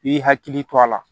I b'i hakili to a la